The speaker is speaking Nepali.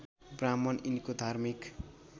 ब्राह्मण यिनको धार्मिक